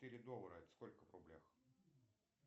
четыре доллара это сколько в рублях